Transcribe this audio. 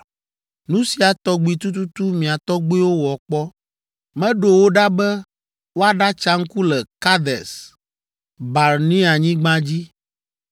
Nu sia tɔgbi tututu mia tɔgbiwo wɔ kpɔ! Meɖo wo ɖa be woaɖatsa ŋku le Kades Barneanyigba dzi.